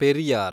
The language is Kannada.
ಪೆರಿಯಾರ್